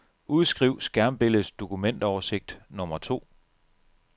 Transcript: Udskriv skærmbilledets dokumentoversigt nummer to.